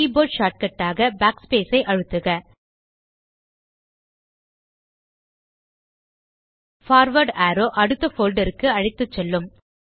keyboard shortcut ஆக backspace ஐ அழுத்துக பார்வார்ட் அரோவ் அடுத்த போல்டர் க்கு அழைத்துசெல்லும்